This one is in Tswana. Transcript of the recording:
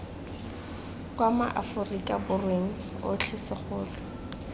kwa maaforika borweng otlhe segolo